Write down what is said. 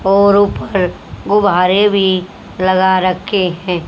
और ऊपर गुब्बारे भी लगा रखे हैं।